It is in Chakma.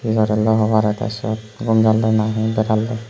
he gorelloi hobare tee sut ghum jalloi nahi beralloi.